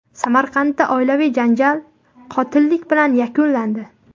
Samarqandda oilaviy janjal qotillik bilan yakunlandi.